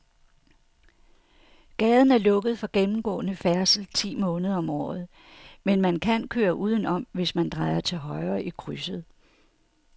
Gaden er lukket for gennemgående færdsel ti måneder om året, men man kan køre udenom, hvis man drejer til højre i krydset.